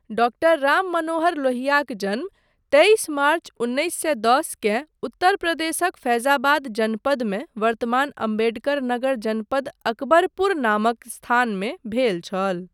Doctor Rammanohar लोहियाक जन्म तेइस मार्च उन्नैस सए दस केँ उत्तर प्रदेशक फैजाबाद जनपदमे वर्तमान अम्बेडकर नगर जनपद अकबरपुर नामक स्थानमे भेल छल।